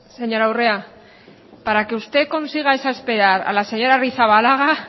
señora urrea para que usted consiga exasperar a la señora arrizabalaga